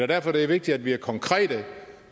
derfor det er vigtigt at vi er konkrete